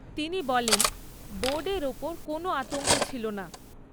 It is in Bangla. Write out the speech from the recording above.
তিনি বলেন, বোর্ডের ওপর কোনো আতঙ্ক ছিল না।